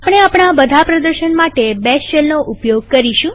આપણે આપણા બધા પ્રદર્શન માટે બેશ શેલનો ઉપયોગ કરીશું